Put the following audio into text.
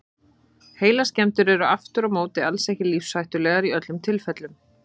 Heilaskemmdir eru aftur á móti alls ekki lífshættulegar í öllum tilfellum.